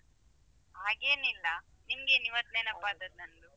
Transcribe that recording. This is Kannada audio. ಹಾಗೇನಿಲ್ಲ ನಿಮ್ಗೆನ್ ಇವತ್ತು ನೆನಪಾದದ್ದು ನಂದು?